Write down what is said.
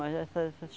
Mas é é essas